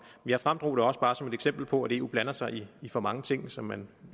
jeg fremdrog det også bare som et eksempel på at eu blander sig i for mange ting som man